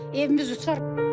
Evimiz uçar.